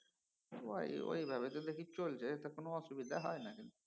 ঐ ঐভাবে তো দেখি চলছে তা কোনও অসুবিধা হয়না কিন্তু